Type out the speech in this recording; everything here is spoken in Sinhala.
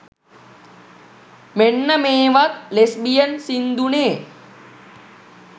මෙන්න මේවත් ලෙස්බියන් සින්දුනේ.